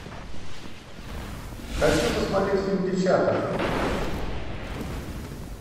хочу посмотреть фильм девчата